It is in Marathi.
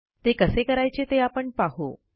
ते कसे करायचे ते आपण पाहू